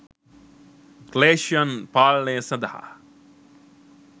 ක්ලේෂයන් පාලනය සඳහා